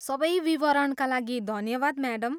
सबै विवरणका लागि धन्यवाद, म्याडम।